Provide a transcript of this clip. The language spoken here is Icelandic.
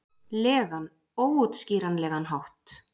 legan, óútskýranlegan hátt.